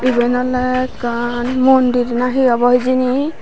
eben ole ekkan mondir na hi obo hijeni.